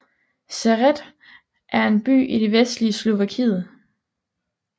Sereď er en by i det vestlige Slovakiet